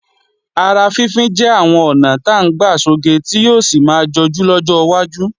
Ara fínfín jẹ́ àwọn ọ̀nà ta ń gbà sọge tí yóò sì máa jọjú lọ́jọ́ wájú